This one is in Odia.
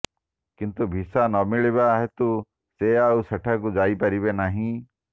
କିନ୍ତୁ ଭିସା ନ ମିଳିବା ହେତୁ ସେ ଆଉ ସେଠାକୁ ଯାଇ ପାରିବେ ନାହିଁ